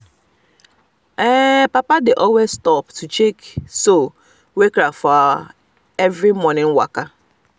papa dey always stop um to check um soul wey crack for our every morning waka